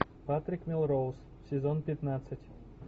патрик мелроуз сезон пятнадцать